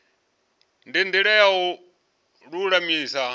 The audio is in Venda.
ndi ndila ya u lulamisa